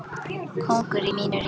Kóngur í mínu ríki.